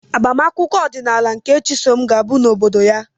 Agbamakwụkwọ ọdịnala nke Chisom ga-abụ n'obodo ya.